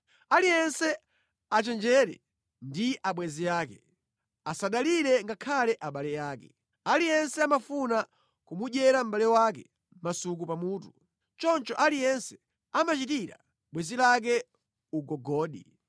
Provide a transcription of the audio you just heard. “Aliyense achenjere ndi abwenzi ake; asadalire ngakhale abale ake. Aliyense amafuna kumudyera mʼbale wake masuku pa mutu. Choncho aliyense amachitira bwenzi lake ugogodi.